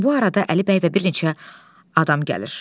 Bu arada Əli bəy və bir neçə adam gəlir.